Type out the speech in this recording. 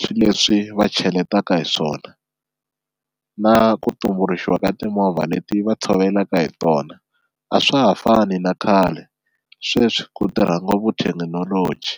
swi leswi va cheletaka hi swona na ku tumbuluxiwa ka timovha leti va tshovelaka hi tona, a swa ha fani na khale sweswi ku tirha ngopfu thekinoloji.